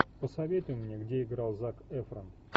посоветуй мне где играл зак эфрон